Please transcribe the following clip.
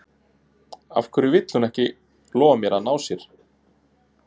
Af hverju vill hún ekki lofa mér að ná sér?